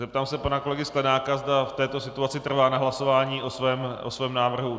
Zeptám se pana kolegy Sklenáka, zda v této situaci trvá na hlasování o svém návrhu.